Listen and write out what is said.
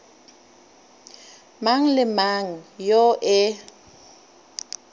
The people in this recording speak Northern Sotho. mang le mang yo e